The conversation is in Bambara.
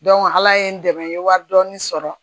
ala ye n dɛmɛ n ye wari dɔɔni sɔrɔ